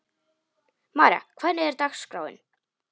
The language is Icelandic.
María, hvernig er dagskráin?